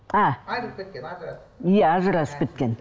а айырылып кеткен ажырасып иә ажырасып кеткен